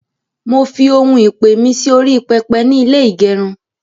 mọ fí òún ìpè mí Si orí pẹpẹ nì ilé igerun